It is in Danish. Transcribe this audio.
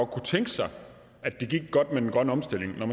kunne tænke sig at det gik godt med den grønne omstilling men